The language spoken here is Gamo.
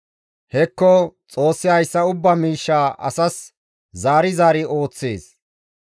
«Hekko! Xoossi hayssa ubbaa miishsha asas zaari zaari ooththees.